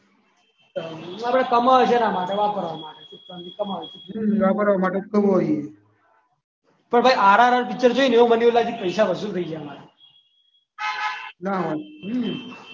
કમાવાના છે એના માટે વાપરવાના ને કમાવાના હ વાપરવા માટે તો કમાઈએ પણ ભાઈ આપણે RRR પિક્ચર જોયું ને એમાં એવું લાગ્યું કે પૈસા વસૂલ થઈ ગયા મારા